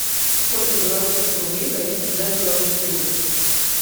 сколько белорусских рублей дают за белорусский рубль